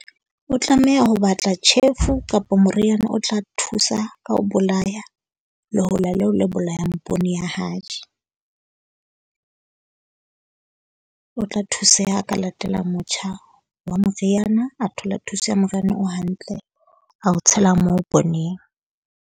O tlameha ho batla tjhefu kapo moriana o tla thusa ka ho bolaya lehola leo la bolayang poone ya hae. . O tla thuseha ha a ka latela motjha wa moriana. A thola thuso ya moriana o hantle a o tshela moo pooneng.